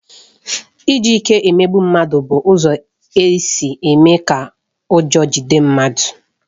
Iji ike emegbu mmadụ bụ ụzọ isi mee ka ụjọ jide mmadụ